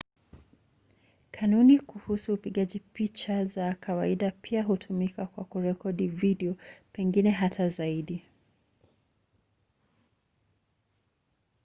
kanuni kuhusu upigaji picha za kawaida pia hutumika kwa kurekodi video pengine hata zaidi